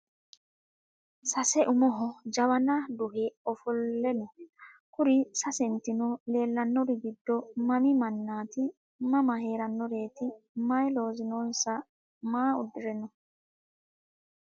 Sase umoho jawana duhe ofole no kuri sasentino lelanori giddo mami manaati mama heeranoreeti mayi loosi noonsa maa udire no?